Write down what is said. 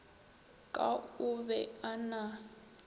ka o be a na